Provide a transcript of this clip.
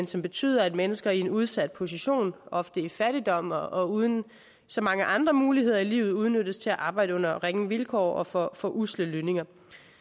som betyder at mennesker i en udsat position ofte i fattigdom og og uden så mange andre muligheder i livet udnyttes til at arbejde under ringe vilkår og for for usle lønninger